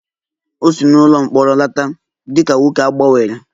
O si n'ụlọ mkpọrọ lọta dị ka nwoke a gbanwere